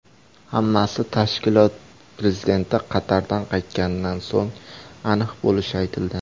Hammasi tashkilot prezidenti Qatardan qaytganidan so‘ng aniq bo‘lishi aytildi .